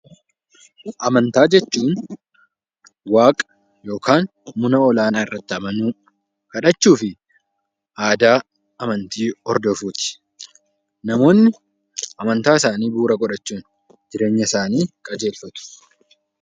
Amantaa jechuun waaqa yookaan mana ol-aanaa irratti amanuu, kadhachuu fi aadaa amantii hodofuuti. Namoonni amantaa isaanii bu'uura godhachuun jireenya isaanii qajeelfatu.